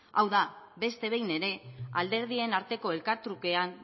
hau da beste behin ere alderdien arteko elkartrukean